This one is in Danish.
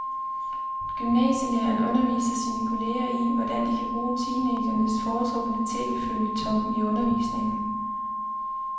Gymnasielæreren underviser sine kolleger i, hvordan de kan bruge teenagernes foretrukne tv-føljeton i undervisningen.